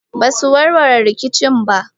ba su warware rikicin ba.